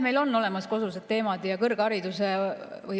Meil on olemas kodused teemad.